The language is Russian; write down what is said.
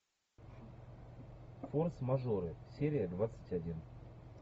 форс мажоры серия двадцать один